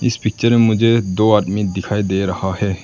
इस पिक्चर में मुझे दो आदमी दिखाई दे रहा है।